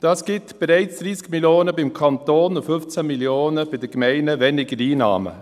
Dies ergibt bereits 30 Mio. Franken beim Kanton und 15 Mio. Franken weniger Einnahmen bei den Gemeinden.